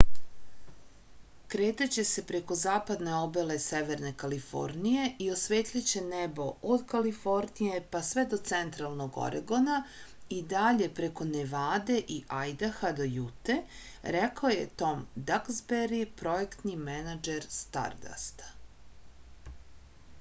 kretaće se preko zapadne obale severne kalifornije i osvetliće nebo od kalifornije pa sve do centralnog oregona i dalje preko nevade i ajdaha do jute rekao je tom daksberi projektni menadžer stardasta